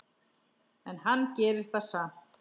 En hann gerir það samt.